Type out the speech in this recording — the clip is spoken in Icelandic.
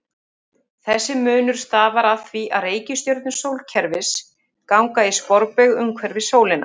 Þessi munur stafar af því að reikistjörnur sólkerfisins ganga í sporbaug umhverfis sólina.